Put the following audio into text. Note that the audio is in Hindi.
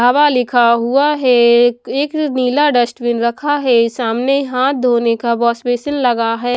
हवा लिखा हुआ है एक नीला डस्टबिन रखा है सामने हाथ धोने का वॉश बेसिन लगा है।